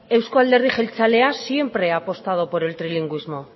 euzko alderdi jeltzalea siempre ha apostado por el trilingüismo